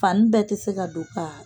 Fani bɛɛ tɛ se ka don k'a